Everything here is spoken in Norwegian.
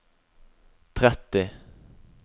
tretti